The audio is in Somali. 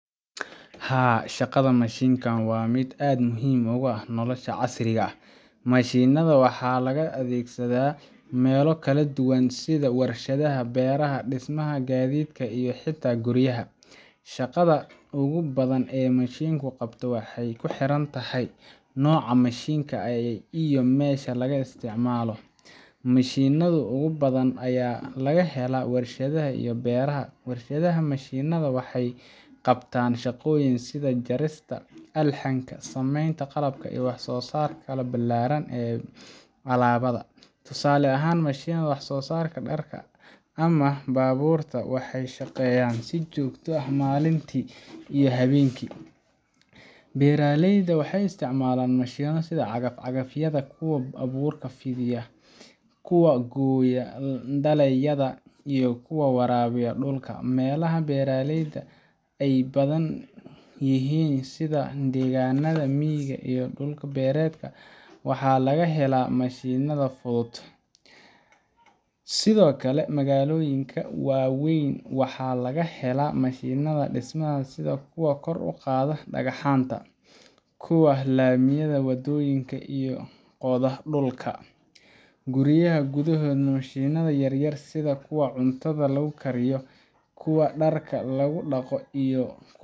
Haa, shaqada mashiinka waa mid aad muhiim ugu ah nolosha casriga ah. Mashiinnada waxaa laga adeegsadaa meelo kala duwan sida warshadaha, beeraha, dhismaha, gaadiidka, iyo xitaa guryaha. Shaqada ugu badan ee mashiinku qabto waxay ku xiran tahay nooca mashiinka iyo meesha laga isticmaalo. Mashiinnada ugu badan ayaa laga helaa warshadaha iyo beeraha. Warshadaha, mashiinnada waxay qabtaan shaqooyin sida jarista, alxanka, samaynta qalabka, iyo wax-soo-saarka ballaaran ee alaabada. Tusaale ahaan, mashiinnada wax-soo-saarka dharka ama baabuurta waxay shaqeeyaan si joogto ah maalintii iyo habeenkii. Beeraleyda waxay isticmaalaan mashiinno sida cagaf-cagafyada, kuwa abuurka fidiya, kuwa gooya dalagyada, iyo kuwa waraabiya dhulka. Meelaha beeraleyda ay badan yihiin sida deegaannada miyiga ama dhul-beereedka, waxaa laga helaa mashiinnadaas si fudud. Sidoo kale, magaalooyinka waa weyn waxaa laga helaa mashiinnada dhismaha sida kuwa kor u qaada dhagaxaanta , kuwa laamiya wadooyinka, iyo kuwa qoda dhulka. Guryaha gudaheedana mashiinnada yar yar sida kuwa cuntada lagu kariyo , kuwa dharka lagu dhaqo, iyo